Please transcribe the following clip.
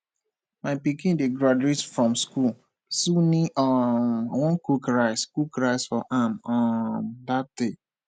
my pikin dey graduate from school sooni um wan cook rice cook rice for am um dat day